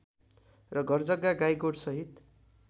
र घरजग्गा गाईगोठसहित